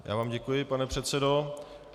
Já vám děkuji, pane předsedo.